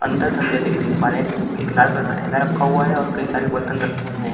अंदर की हम जैसे देख पा रहे हैं एक लाल कलर का थैला रखा हुआ है और कई सारे बर्तन रखे हुए हैं।